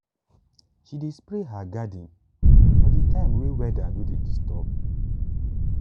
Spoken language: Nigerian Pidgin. she dey spray her garden for the time way weather no dey disturb